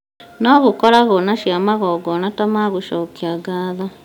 no gũkoragwo na cia magongona ta ma gũcokia ngatho